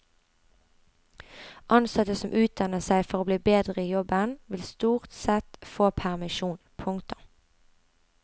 Ansatte som utdanner seg for å bli bedre i jobben vil stort sett få permisjon. punktum